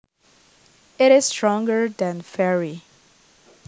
It is stronger than very